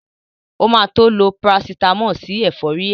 O ma tó lo Parasítámọ̀ sí ẹ̀fọ́rí ẹ̀